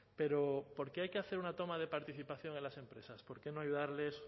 pero por qué hay que hacer una toma de participación en las empresas por qué no ayudarles